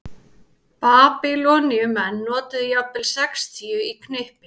Babýloníumenn notuðu jafnvel sextíu í knippi.